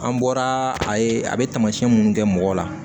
An bɔra a ye a bɛ taamasiyɛn minnu kɛ mɔgɔ la